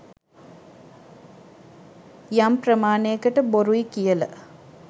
යම් ප්‍රමාණයකට බොරුයි කියල